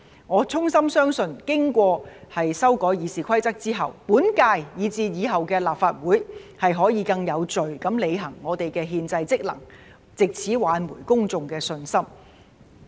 我衷心相信，經過修改《議事規則》後，本屆以至以後的立法會可以更有序地履行我們的憲制職能，藉此挽回公眾的信心。